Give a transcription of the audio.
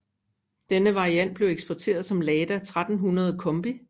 Denne variant blev eksporteret som Lada 1300 Combi